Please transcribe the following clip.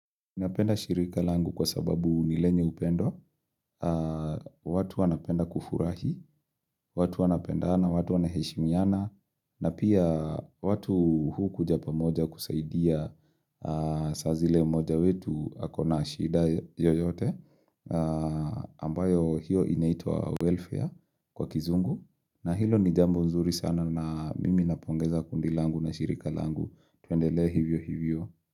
Napenda shirika langu kwa sababu nilenye upendo, watu wanapenda kufurahi, watu wanapendana, watu wanaheshimiana, na pia watu huu kuja pa moja kusaidia saazile mmoja wetu akona shida yoyote, ambayo hiyo inaitwa welfare kwa kizungu, na hilo ni jambo nzuri sana na mimi napongeza kundi langu na shirika langu, tuendelee hivyo hivyo.